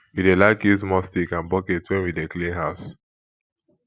we dey like use mop stick and bucket wen we dey clean house